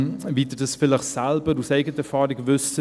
Wie Sie vielleicht aus eigener Erfahrung wissen: